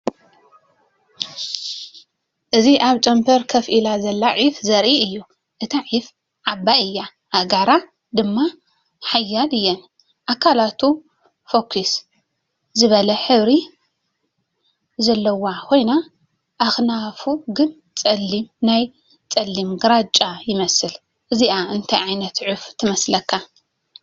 እዚ ኣብ ጨንፈር ኮፍ ኢላ ዘላ ዑፍ ዘርኢ እዩ። እታ ዑፍ ዓባይ እያ፣ ኣእጋራ ድማ ሓያል እየን። ኣካላቱ ፍኹስ ዝበለ ሕብሪ ዘለዎ ኮይኑ፡ ኣኽናፉ ግን ጸሊም ወይ ጸሊም ግራጭ ይመስል። እዚኣ እንታይ ዓይነት ዑፍ ትመስለካ?